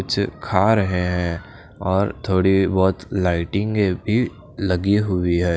कुछ खा रहे हैं और थोड़ी बहोत लाइटिंग भी लगी हुई है।